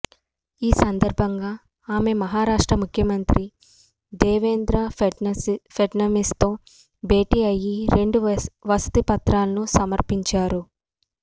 ఈ సందర్భంగా ఆమె మహారాష్ట ముఖ్యమంత్రి దేవేంద్ర ఫెడ్నవీస్ తో భేటీ అయ్యి రెండు వినతి పత్రాలను సమర్పించారు